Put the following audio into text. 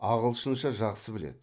ағылшынша жақсы біледі